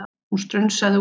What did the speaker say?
Hún strunsaði út.